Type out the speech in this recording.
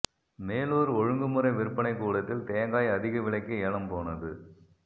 மேலூா் ஒழுங்குமுறை விற்பனைக் கூடத்தில் தேங்காய் அதிக விலைக்கு ஏலம் போனது